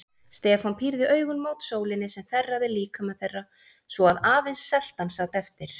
Stefán pírði augun mót sólinni sem þerraði líkama þeirra svo að aðeins seltan sat eftir.